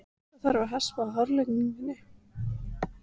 Það þarf að hespa af hárlagningunni.